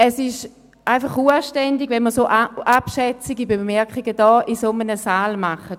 Es ist unanständig, in diesem Saal solch abschätzige Bemerkungen zu machen.